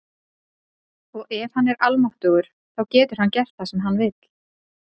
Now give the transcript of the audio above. og ef hann er almáttugur þá getur hann gert það sem hann vill